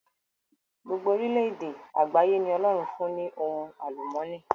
Gbogbo orílẹ èdè àgbáyé ni Ọlọ́run fún ní ohun àlùmọ́ọ́nì.